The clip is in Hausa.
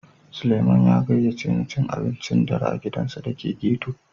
Sulieman ya gaƴace ni cin abincin ɗare a giɗansa da ke ghetto.